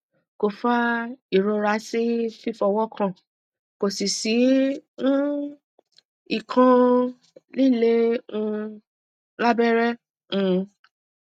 ko fa irora si fífọwọ́kàn ko si si um ikan lile um lábẹ́rẹ́ um